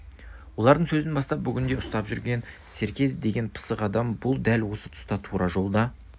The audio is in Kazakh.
олардың сөзін бастап бүгінде ұстап жүрген серке деген пысық адам бұл дәл осы тұста тура жолда